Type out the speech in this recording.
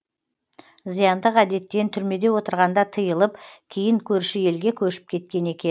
зияндық әдеттен түрмеде отырғанда тыйылып кейін көрші елге көшіп кеткен екен